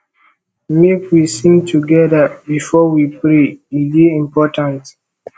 make we sing togeda before we pray e dey important